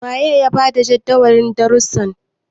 waye ya ba da Jadawalin darrusan?